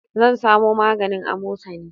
Zan samo maganin amosani